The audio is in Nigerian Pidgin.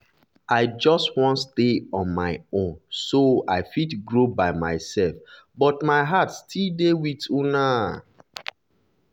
i just wan stay on my own so i fit grow by myself but my heart still dey with una.